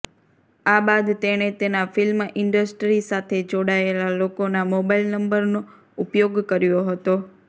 આ બાદ તેણે તેના ફિલ્મ ઈન્ડસ્ટ્રી સાથે જોડાયેલા લોકોના મોબાઈલ નંબરનો ઉપયોગ કર્યો હતો